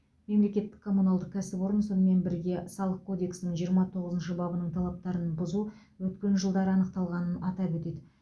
мемлекеттік коммуналдық кәсіпорын сонымен бірге салық кодексінің жиырма тоғызыншы бабының талаптарын бұзу өткен жылдары анықталғанын атап өтеді